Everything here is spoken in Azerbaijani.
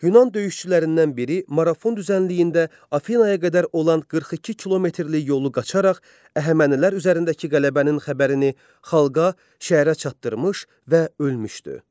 Yunan döyüşçülərindən biri Marafon düzənliyində Afinaya qədər olan 42 kilometrlik yolu qaçaraq əhəmənilər üzərindəki qələbənin xəbərini xalqa, şəhərə çatdırmış və ölmüşdü.